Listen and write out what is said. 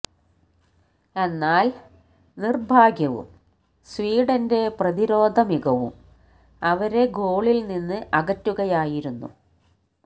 എന്നാല് നിര്ഭാഗ്യവും സ്വീഡന്റെ പ്രതിരോധ മികവും അവരെ ഗോളില് നിന്ന് അകറ്റുകയായിരുന്നു